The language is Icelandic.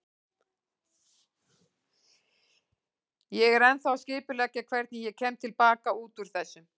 Ég er ennþá að skipuleggja hvernig ég kem til baka út úr þessu.